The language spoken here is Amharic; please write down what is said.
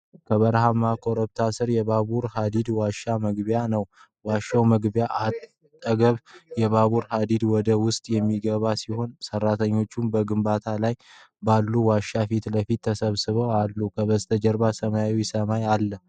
ከበረሃማ ኮረብታ ስር የባቡር ሐዲድ ዋሻ መግቢያ ነው። በዋሻው መግቢያ አጠገብ የባቡር ሀዲድ ወደ ውስጥ የሚገባ ሲሆን፣ ሠራተኞችም በግንባታ ላይ ባለው ዋሻ ፊት ለፊት ተሰብስበው አሉ። ከበስተጀርባ ሰማያዊ ሰማይ አለ።